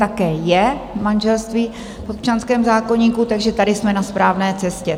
Také je manželství v občanském zákoníku, takže tady jsme na správné cestě.